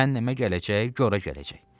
Cəhənnəmə gələcək, qora gələcək.